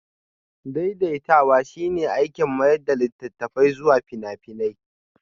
Daidaitawa shine aikin mayar da littattafai zuwa fina-finai